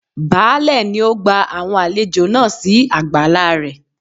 Baálẹ̀ nì ó gba àwọn àlejò náà si àgbàlá rẹ̀